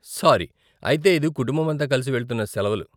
Sorry, అయితే ఇది కుటుంబమంతా కలిసి వెళ్తున్న సెలవలు.